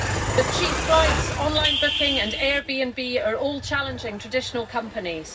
But cheap flights, online booking and Airbnb are all challenging traditional companies.